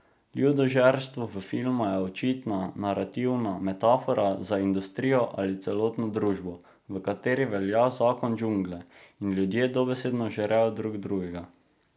Ljudožerstvo v filmu je očitna narativna metafora za industrijo ali celotno družbo, v kateri velja zakon džungle, in ljudje dobesedno žrejo drug drugega.